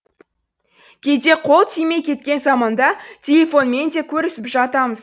кейде қол тимей кеткен заманда телефонмен де көрісіп жатамыз